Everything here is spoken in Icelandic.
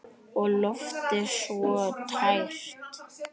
Og loftið svo tært.